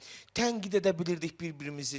Tənqid edə bilirdik bir-birimizi.